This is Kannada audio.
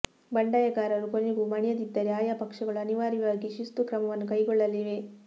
ಬಂಡಾಯಗಾರರು ಕೊನೆಗೂ ಮಣಿಯದಿದ್ದರೆ ಆಯಾ ಪಕ್ಷಗಳು ಅನಿವಾರ್ಯವಾಗಿ ಶಿಸ್ತು ಕ್ರಮವನ್ನು ಕೈಗೊಳ್ಳಲಿವೆ